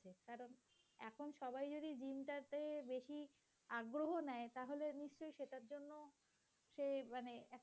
আগ্রহ নেয় তাহলে নিশ্চয়ই সেটার জন্য সে মানে